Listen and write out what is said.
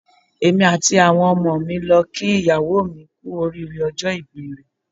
Èmi àti àwọn ọmọ mi ń lọ ń kí ìyàwó mi kú oríire ọjọ́ ìbí rẹ̀.